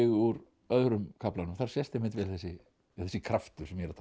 úr öðrum kaflanum þar sést einmitt vel þessi kraftur sem ég er að tala